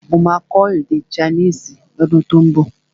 Mo máa kọ́ èdè chinese ọdún tó ún bọ̀